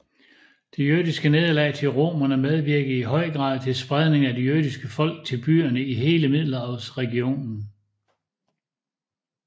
Det jødiske nederlag til romerne medvirkede i høj grad til spredningen af det jødiske folk til byerne i hele middelhavsregionen